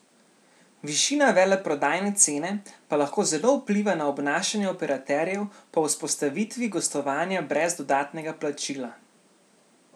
Višina veleprodajne cene pa lahko zelo vpliva na obnašanje operaterjev po vzpostavitvi gostovanja brez dodatnega plačila.